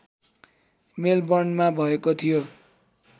मेलबर्नमा भएको थियो